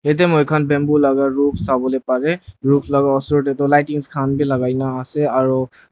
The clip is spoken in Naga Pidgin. ete moi khan bamboo laga ruf savo lae parey ruf laga osor tae lightings khan vi lagai na ase.